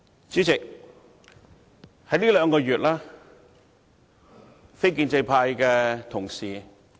主席，在這兩個月，非建制派的同事......